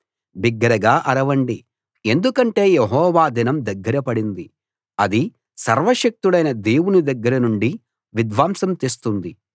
బిగ్గరగా అరవండి ఎందుకంటే యెహోవా దినం దగ్గరపడింది అది సర్వశక్తుడైన దేవుని దగ్గర నుండి విధ్వంసం తెస్తుంది